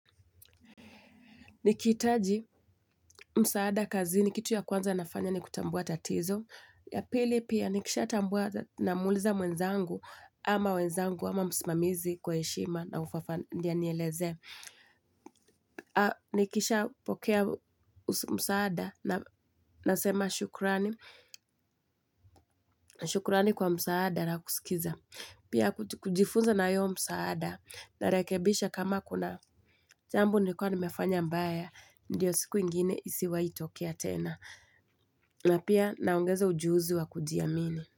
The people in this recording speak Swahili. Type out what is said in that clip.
Nikihitaji msaada kazini kitu cha kwanza nafanya ni kutambuwa tatizo. Ya pili pia nikishatambuwa namuuliza mwenzangu ama wenzangu ama msamizi kwa heshima na ufafanuzi, ndiyo anielezee. Nikishapokea msaada, nasema shukurani. Shukurani kwa msaada na kusikiza. Pia kujifunza na huo msaada, narekebisha kama kuna jambo nilikuwa nimefanya mbaya. Ndiyo siku ingine isiwahi tokea tena. Na pia naongeza ujuzi wa kujiamini.